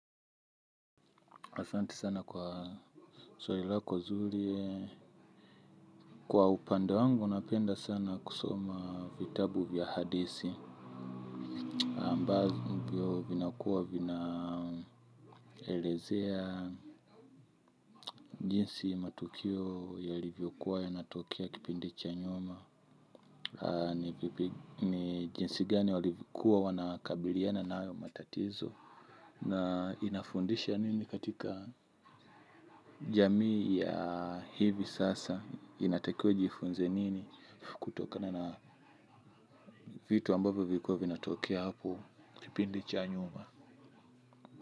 Asante sana kwa swali lako zuri kwa upande wangu napenda sana kusoma vitabu vya hadithi ambavyo vinakuwa vinaelezea jinsi matukio yalivyokuwa yanatokia kipindi cha nyuma. Ni jinsi gani walivyokuwa wanakabiliana na hayo matatizo. Na inafundisha nini katika jamii ya hivi sasa inatakiwa inifunze nini kutokana na vitu ambavyo vilikuwa vinatokea hapo kipindi cha nyuma.